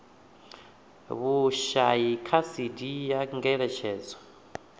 vhushai kha cd ya ngeletshedzo